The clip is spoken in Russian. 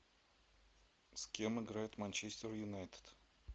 с кем играет манчестер юнайтед